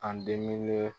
An diminen